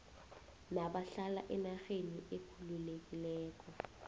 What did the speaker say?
nabahlala enarheni ekhululekileko